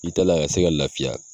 I tɛ la ka se ka lafiya.